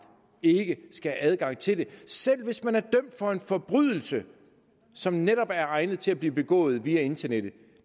ikke skal have adgang til det selv hvis man er dømt for en forbrydelse som netop er egnet til at blive begået via internettet